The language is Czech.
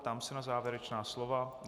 Ptám se na závěrečná slova.